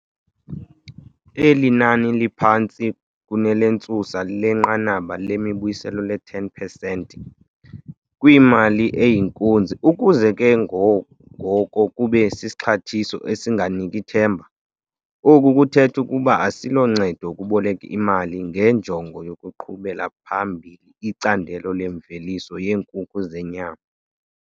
Eli nani liphantsi kunelentsusa lenqanaba lembuyiselo le-10 pesenti kwimali eyinkunzi ukuze ke ngoko kube sisixhathiso esinganiki themba. Oku kuthetha ukuba asiloncedo ukuboleka imali ngenjongo yokuqhubela phambili icandelo lemveliso yeenkukhu zenyama.